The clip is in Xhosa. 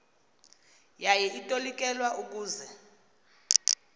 yaye itolikelwa ukuze